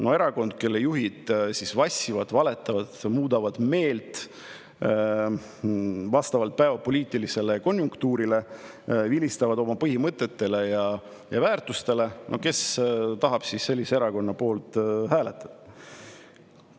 Kui erakonna juhid vassivad, valetavad, muudavad meelt vastavalt päevapoliitilisele konjunktuurile, vilistavad oma põhimõtetele ja väärtustele, siis no kes tahab sellise erakonna poolt hääletada!